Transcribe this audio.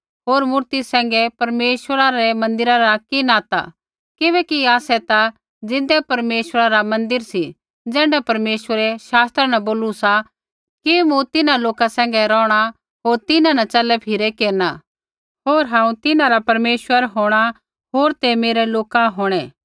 हौर मूर्ति सैंघै परमेश्वरा रै मन्दिरा रा कि नाता किबैकि आसै ता ज़िन्दै परमेश्वरै रा मन्दिर सी ज़ैण्ढा परमेश्वरै शास्त्रा न बोलू सा कि मूँ तिन्हां लोका सैंघै रौहणा होर तिन्हां न च़लै फिरै केरना होर हांऊँ तिन्हां रा परमेश्वर होंणा होर ते मेरै लोका होंणै